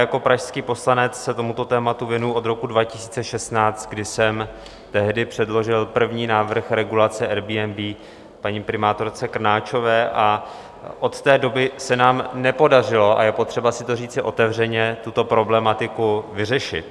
Jako pražský poslanec se tomuto tématu věnuji od roku 2016, kdy jsem tehdy předložil první návrh regulace Airbnb paní primátorce Krnáčové, a od té doby se nám nepodařilo - a je potřeba si to říci otevřeně - tuto problematiku vyřešit.